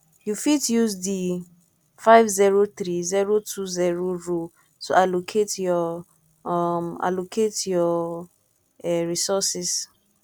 you fit use di 503020 rule to allocate your um allocate your um resources